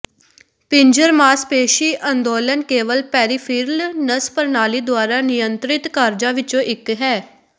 ਪਿੰਜਰ ਮਾਸਪੇਸ਼ੀ ਅੰਦੋਲਨ ਕੇਵਲ ਪੈਰੀਫਿਰਲ ਨਸ ਪ੍ਰਣਾਲੀ ਦੁਆਰਾ ਨਿਯੰਤ੍ਰਿਤ ਕਾਰਜਾਂ ਵਿੱਚੋਂ ਇੱਕ ਹੈ